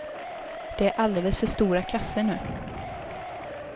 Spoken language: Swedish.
Det är alldeles för stora klasser nu.